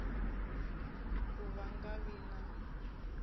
ka va nga vi na